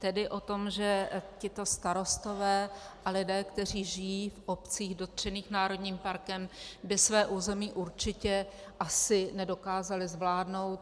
Tedy o tom, že tito starostové a lidé, kteří žijí v obcích dotčených národním parkem, by své území určitě asi nedokázali zvládnout.